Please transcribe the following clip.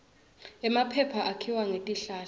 emaphepha akhiwa ngetihlahla